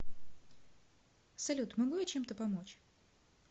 салют могу я чем то помочь